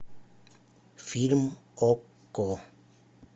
фильм окко